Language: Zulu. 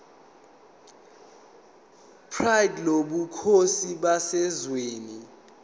pride lobukhosi baseswazini